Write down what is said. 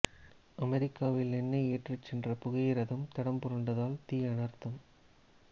அமெரிக்காவில் எண்ணெய் ஏற்றிச் சென்ற புகையிரதம் தடம் புரண்டதால் தீ அனர்த்தம்